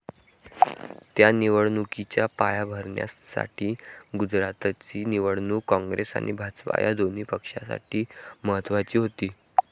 त्या निवडणुकीच्या पायाभरणीसाठी गुजरातची निवडणूक काँग्रेस आणि भाजप या दोन्ही पक्षांसाठी महत्त्वाची होती.